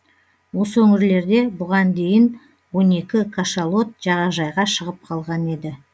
осы өңірлерде бұған дейін он екі кашалот жағажайға шығып қалған еді